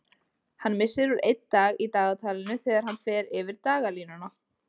Hann missir úr einn dag í dagatalinu þegar hann fer yfir dagalínuna.